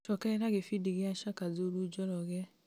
cokerera gĩbindi gĩa shaka zulu njoroge